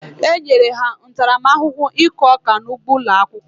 E nyere ha ntaramahụhụ ịkụ ọka n'ụgbo ụlọ akwụkwọ.